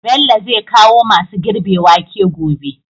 Bello zai kawo masu girbe wake gobe